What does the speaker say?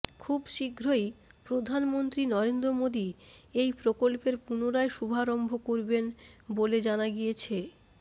খুব শীঘ্রই প্রধানমন্ত্রী নরেন্দ্র মোদী এই প্রকল্পের পুনরায় শুভারম্ভ করবেন বলে জানা গিয়েছে